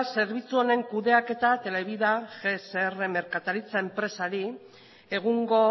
zerbitzu honen kudeaketa televida gsr merkataritza enpresari egungo